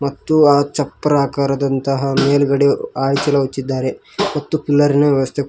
ಮತ್ತು ಆಚಪ್ರಾಕಾರದಂತಹ ಮೇಲ್ಗಡೆ ಹಾಳೆ ಚೀಲ ಒಚ್ಚಿದ್ದಾರೆ ಮತ್ತು ಪಿಲ್ಲರಿನ ವ್ಯವಸ್ಥೆ--